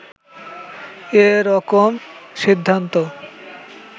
এ রকম সিদ্ধান্ত